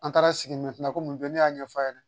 An taara sigi la ko mun bɛ ne y'a ɲɛfɔ a ɲɛna